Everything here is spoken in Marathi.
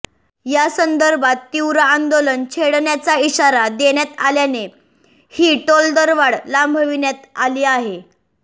यासंदर्भात तीव्र आंदोलन छेडण्याचा इशारा देण्यात आल्याने ही टोलदरवाढ लांबविण्यात आली आहे